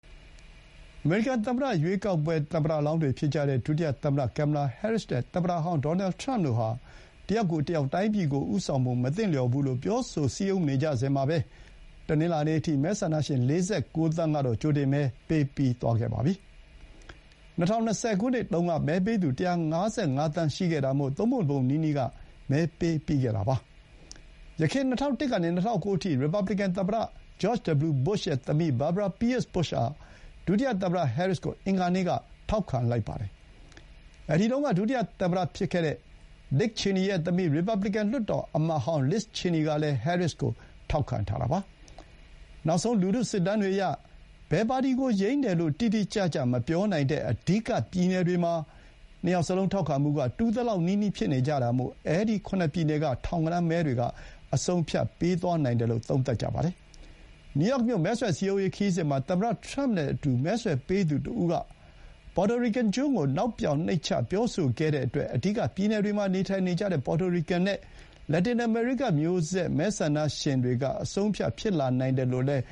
အမေရိကန်သမ္မတရွေးကောက်ပွဲမဲဆွယ်ကာလတွေအတွင်း သမ္မတကိုယ်စားလှယ်လောင်းတွေ ဖြစ်ကြတဲ့ လက်ရှိ ဒုသမ္မတ ကင်မလာ ဟဲရစ်နဲ့ ရီပတ်ဘလစ်ကန်ပါတီရဲ့ကိုယ်စားလှယ်လောင်း ထရမ့်တို့ဟာ တယောက်ကိုတယောက် တိုင်းပြည်ကိုဦးဆောင်ဖို့ မသင့်ကြောင်း ပြောဆိုစည်းရုံးနေကြစဥ်မှာ မဲဆန္ဒရှင် ၄၉ သန်းကတော့ ကြိုတင်မဲ ပေးပြီးသွားခဲ့ပါပြီ။ ၂၀၂၀ ခုနှစ်တုန်းက မဲပေးသူ ၁၅၅ သန်းရှိခဲ့တာမို့ သုံးပုံတပုံနီးနီး က မဲပေးပြီးခဲ့တာပါ။ ယခင် ၂၀၀၁ က ၂၀၀၉ အထိသမ္မတတာဝန်ယူခဲ့သူ ရီပတ်ဘလီကန် သမ္မတဟောင်း ဂျော့်ချ် ဒဘလျူ ဘုရှ်ရဲ့ သမီး Barbara Pierce Bush က ဒုတိယသမ္မတဟဲရစ်ကို အင်္ဂါနေ့က ထောက်ခံလိုက်ပါတယ်။ အဲဒီတုန်းက ဒုတိယသမ္မတ ဒစ်ချေနီရဲ့ သမီး ရီပတ်ဘလီကန်လွှတ်တော် အမတ်ဟောင်း Liz Cheney ကလည်း ဟဲရစ်ကို ထောက်ခံထားတာပါ။ နောက်ဆုံး လူထုစစ်တမ်းတွေအရ ဘယ်ပါတီကို ယိမ်းတယ်လို့ တိတိကျကျ မပြောနိုင်တဲ့ အဓိက ပြည်နယ်တွေမှာ နှစ်ယောက်စလုံး ထောက်ခံမှုက တူသလောက်နီးနီး ဖြစ်နေကြတာမို့ အဲဒီ ခုနစ်ပြည်နယ်က ထောင်ဂဏန်းမဲတွေကအဆုံးအဖြတ်ပေးသွားနိုင်ပါတယ်။ နယူးယောက်မြို့ မဲဆွယ် စည်းရုံးရေးခရီးစဥ်မှာ သမ္မတထရမ့်နဲ့အတူ မဲဆွယ်ပေးသူတဦးက Puerto Rican ကျွန်းကို နောက်ပြောင်နှိမ့်ချပြောဆိုခဲ့တဲ့အတွက် အဓိက ပြည်နယ်တွေမှာ နေထိုင်နေကြတဲ့ Puerto Rican နဲ့ လက်တင်အမေရိကမျိုးဆက်မဲဆန္ဒရှင်တွေက အဆုံးအဖြတ်ဖြစ်နိုင်တယ်လို့လည်း